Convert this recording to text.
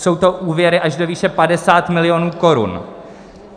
Jsou to úvěry až do výše 50 milionů korun.